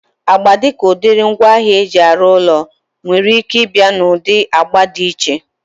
Agba dịka udiri ngwaahịa eji arụ ụlọ nwere ike ịbịa na ụdị agba dị iche